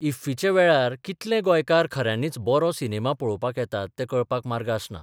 इफ्फीच्या वेळार कितले गोंयकार खऱ्यांनीच बरो सिनेमा पळोवपाक येतात तें कळपाक मार्ग आसना.